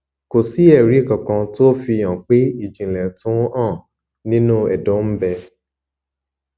kò sí èrí kankan tó fi hàn pé ìjìnlẹ tó ń hàn nínú ẹdọ ń bẹ